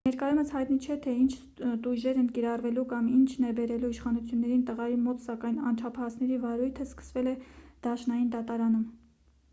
ներկայումս հայտնի չէ թե ինչ տույժեր են կիրառվելու կամ ինչն է բերել իշխանություններին տղայի մոտ սակայն անչափահասների վարույթը սկսվել է դաշնային դատարանում